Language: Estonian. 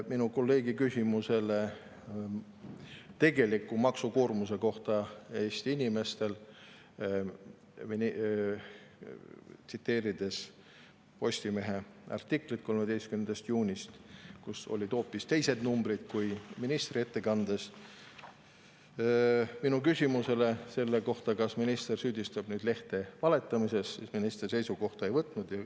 Minu kolleegi küsimusele Eesti inimeste tegeliku maksukoormuse kohta, kui ta tugines Postimehe artiklile 13. juunist, kus olid hoopis teised numbrid kui ministri ettekandes, kas minister süüdistab nüüd lehte valetamises, minister ei vastanud ega seisukohta ei võtnud.